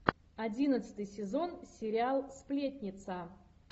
одиннадцатый сезон сериал сплетница